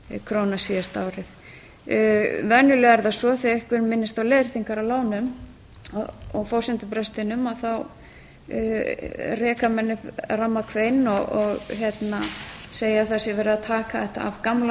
króna síðasta árið venjulega er það svo þegar einhver minnist á leiðréttingar á lánum og forsendubrestinum reka menn upp ramakvein og segja að það sé verið að taka þetta af gamla